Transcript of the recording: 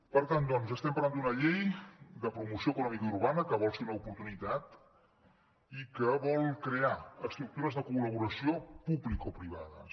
per tant doncs estem parlant d’una llei de promoció econòmica urbana que vol ser una oportunitat i que vol crear estructures de col·laboració publicoprivades